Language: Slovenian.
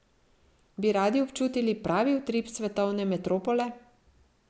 Bi radi občutili pravi utrip svetovne metropole?